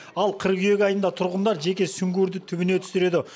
ал қыркүйек айында тұрғындар жеке сүңгуірді түбіне түсіреді